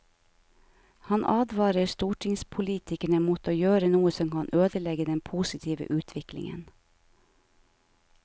Han advarer stortingspolitikerne mot å gjøre noe som kan ødelegge den positive utviklingen.